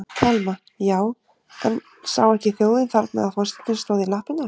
Telma: Já, en sá ekki þjóðin þarna að forsetinn stóð í lappirnar?